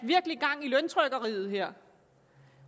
gang i løntrykkeriet her